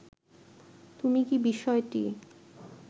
তুমি কি বিষয়টি